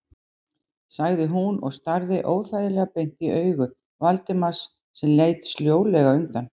sagði hún og starði óþægilega beint í augu Valdimars sem leit sljólega undan.